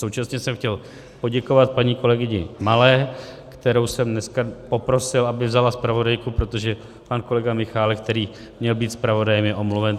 Současně jsem chtěl poděkovat paní kolegyni Malé, kterou jsem dneska poprosil, aby vzala zpravodajku, protože pan kolega Michálek, který měl být zpravodajem, je omluven.